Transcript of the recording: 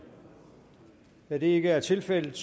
da det ikke er tilfældet